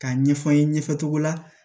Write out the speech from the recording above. K'a ɲɛfɔ n ye ɲɛfɛ cogo la